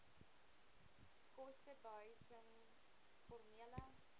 koste behuising formele